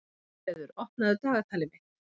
Bjarnfreður, opnaðu dagatalið mitt.